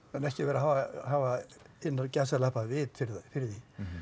en ekki vera að hafa innan gæsalappa vit fyrir því